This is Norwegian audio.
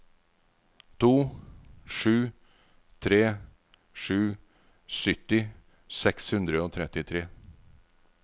to sju tre sju sytti seks hundre og trettitre